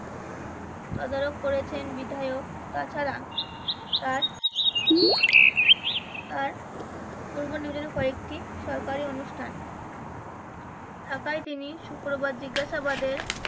তদারক করেছেন বিধায়ক তাছাড়া তার তার পূর্ব অনুযায়ী কয়েকটি সরকারি অনুষ্ঠান থাকায় তিনি শুক্রবার জিজ্ঞাসাবাদে